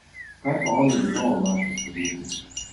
Kaj pa oni vedo o naših podjetjih?